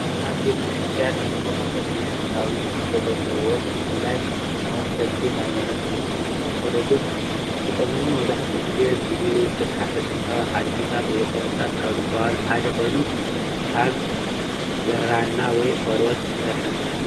እዚ አብ ቤተ ክርስትያን እንጥቀመሎም ሃይማኖታዊ ትሕዝቶ ዘለዎም ብፍላይ ተከተልቲ ሃይማኖት ኦርቶዶክስ ዝጥቀመሉ መብዛሕትኡ ግዜ ብግእዝ ዝተፀሐፈ ጥንታዊ ሐድግታት ወይ ቅርሲታት ካብ ዝበሃሉ ሐደ ኮይኑካብ ብራና ወይ ቆርበት ዝተሰርሐ መፅሐፍ እዩ።